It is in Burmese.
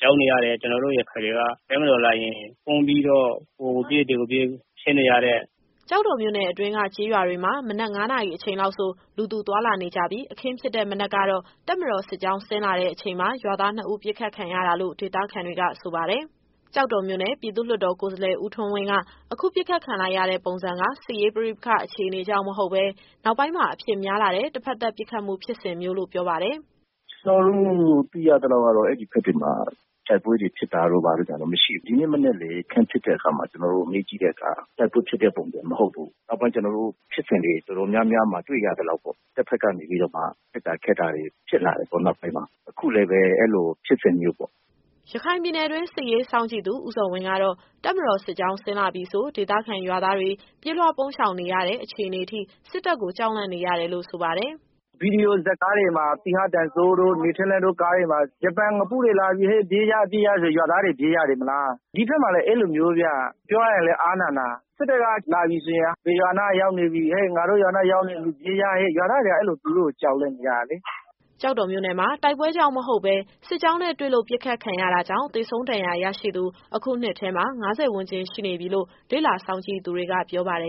ကြောက်နေရတယ်။ ကျတော်တို့ရခိုင်တွေက တပ်မတော်လာရင် ပုန်းပြီးတော့ ဟိုကိုပြေး၊ ဒီကိုပြေး ဖြစ်နေရတယ်။” ကျောက်တော်မြို့နယ်အတွင်းက ကျေးရွာတွေမှာ မနက်၅နာရီအချိန်လောက်ဆို လူသူသွားလာနေကြပြီး အခင်းဖြစ်တဲ့မနက်ကတော့ တပ်မတော်စစ်ကြောင်းဆင်းလာတဲ့အချိန်မှာ ရွာသားနှစ်ဦး ပစ်ခတ်ခံခဲ့ရတာလို့ ဒေသခံတွေက ဆိုပါတယ်။ ကျောက်တော်မြို့နယ် ပြည်သူ့လွှတ်တော်ကိုယ်စားလှယ် ဦးထွန်းဝင်းက အခုပစ်ခတ်ခံလိုက်ရတဲ့ပုံစံက စစ်ရေးပဋိပက္ခအခြေအနေကြောင့် မဟုတ်ဘဲ နောက်ပိုင်းမှာ အဖြစ်များလာတဲ့ တဘက်သတ်ပစ်ခတ်မှု ဖြစ်စဉ်မျိုးုလို့ ပြောပါတယ်။ “ကျတော်တို့သိရသလောက်ကတော့ အဲဒီဘက်တွေမှာ တိုက်ပွဲတွေဖြစ်တာတို့ ဘာတို့ကတော့ မရှိဘူး။ ဒီနေ့မနက်လည်း အခင်းဖြစ်တဲ့အခါမှာ ကျတော်တို့မေးကြည့်တဲ့အခါ တိုက်ပွဲဖြစ်တဲ့ပုံစံမဟုတ်ဘူး။ နောက်ပိုင်း ကျတော်တို့ ဖြစ်စဉ်တွေတော်တော်များများမှာ တွေ့ရသလောက်ပေါ့။ တဖက်ကနေပြီးတော့မှ ပစ်တာခတ်တာတွေ ဖြစ်လာတယ်ပေါ့ နောက်ပိုင်းမှာ။ အခုလည်းပဲ အဲလိုဖြစ်စဉ်မျိုးပေါ့။” ရခိုင်ပြည်နယ်တွင်း စစ်ရေးစောင့်ကြည့်သူ ဦးဇော်ဝင်းကတော့ တပ်မတော်စစ်ကြောင်းဆင်းလာပြီဆို ဒေသခံရွာသားတွေ ပြေးလွှားရှောင်ပုန်းနေရတဲ့ အခြေအနေထိ စစ်တပ်ကိုကြောက်လန့်နေရတယ်လို့ ဆိုပါတယ်။ “ဗွီဒီယိုဇာတ်ကားတွေမှာ သီဟတင်စိုးတို့၊ နေထက်လင်းတို့ကားတွေမှာ ဂျပန်ငပုတွေလာပြီဟေ့ ပြေးကြ ပြေးကြဆို ရွာသားတွေ ပြေးရတယ်မလား။ ဒီဘက်မှာလည်း အဲလိုမျိုးဗျ။ ပြောရရင်လည်း အားနာနာ။ စစ်တပ်ကလာပြီဆိုရင် ဘယ်ရွာနားရောက်နေပြီ၊ ဟေ့ ငါတို့ရွာနားရောက်နေပြီ ပြေးကြဟေ့။ ရွာသားတွေက အဲလို သူတို့ကို ကြောက်လန့်နေကြတာလေ။” ကျောက်တော်မြို့နယ်မှာ တိုက်ပွဲကြောင့်မဟုတ်ဘဲ စစ်ကြောင်းနဲ့တွေ့လို့ ပစ်ခတ်ခံရတာကြောင့် သေဆုံး၊ ဒဏ်ရာရရှိသူ အခုနှစ်ထဲမှာ ၅၀ ဝန်းကျင်ရှိနေပြီလို့ လေ့လာစောင့်ကြည့်သူတွေက ပြောပါတယ်